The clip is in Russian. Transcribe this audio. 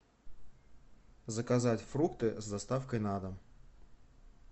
заказать фрукты с доставкой на дом